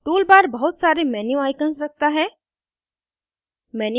tool bar बहुत bar menu icons रखता है